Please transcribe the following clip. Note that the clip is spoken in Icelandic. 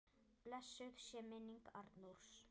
Blessuð sé minning Arnórs.